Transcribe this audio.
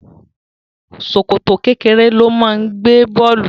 Ṣòkòtò kékeré ló máa ń gbé bọ̀ọ̀lù